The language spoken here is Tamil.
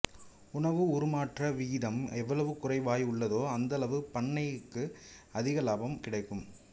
உணவு உருமாற்ற விகிதம் எவ்வளவு குறைவாய் உள்ளதோ அந்த அளவு பண்ணைக்கு அதிக இலாபம் கிடைக்கும்